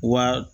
Wa